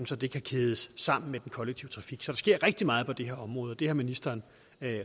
så det kan kædes sammen med den kollektive trafik så der sker rigtig meget på det her område det har ministeren